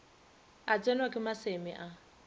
a tsenwa ke maseme a